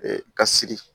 ka siri